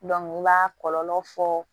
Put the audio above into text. u b'a kɔlɔlɔ fɔ